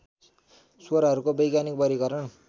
स्वरहरूको वैज्ञानिक वर्गीकरण